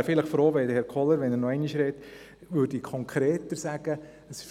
Ich wäre froh, wenn Grossrat Kohler, falls er noch einmal spricht, konkreter sagen